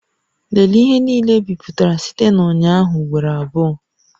Lelee ihe niile ebipụtara site na ụnyaahụ ugboro abụọ